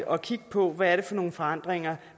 at kigge på hvad det er for nogle forandringer